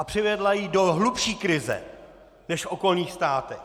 A přivedla ji do hlubší krize než v okolních státech.